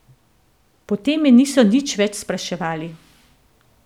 Potem me niso nič več spraševali.